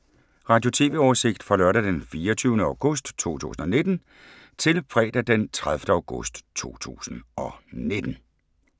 Radio/TV oversigt fra lørdag d. 24. august 2019 til fredag d. 30. august 2019